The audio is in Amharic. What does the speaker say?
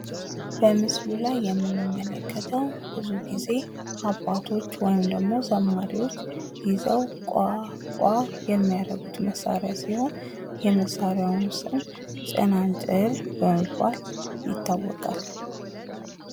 በምስሉ ላይ የምንመለከተው ብዙ ጊዜ አባቶች ወይም ደግሞ ዘማሪዎች ይዘው ቋ ቋቋ የሚያረጉት መሳሪያ ሲሆን የመሳሪያውም ስም ጸናጽል በመባል ይታወቃል።